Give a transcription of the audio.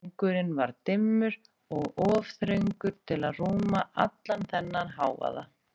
Gangurinn var dimmur og of þröngur til að rúma allan þennan hávaða.